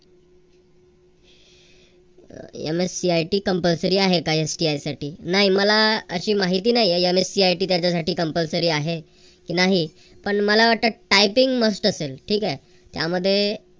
MSCIT compulsory आहे का STI साठी नाही मला अह अशी माहिती नाही MSCIT त्याच्यासाठी compulsory आहे की नाही पण मला वाटत typingmust असेल ठीक हाय. त्यामध्ये